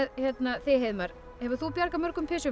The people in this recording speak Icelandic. þig Heiðmar hefur þú bjargað mörgum